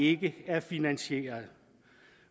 ikke er finansieret